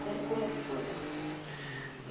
Como que foi para você?